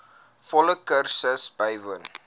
volle kursus bywoon